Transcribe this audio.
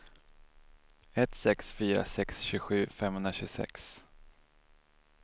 ett sex fyra sex tjugosju femhundratjugosex